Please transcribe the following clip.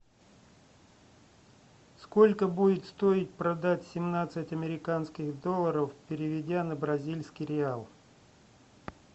сколько будет стоить продать семнадцать американских долларов переведя на бразильский реал